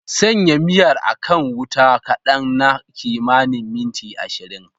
Sanya miyar a kan wuta kadan na kimanin minti 20.